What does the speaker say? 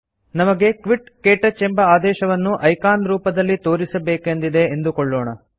ನಮಗೆ ಕ್ವಿಟ್ ಕ್ಟಚ್ ಎಂಬ ಆದೇಶವನ್ನು ಐಕಾನ್ ರೂಪದಲ್ಲಿ ತೋರಿಸಬೇಕೆಂದಿದೆ ಎಂದುಕೊಳ್ಳೋಣ